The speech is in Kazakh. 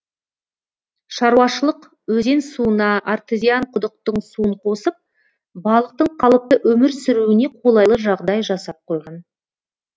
шаруашылық өзен суына артезиан құдықтың суын қосып балықтың қалыпты өмір сүруіне қолайлы жағдай жасап қойған